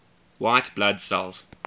white blood cells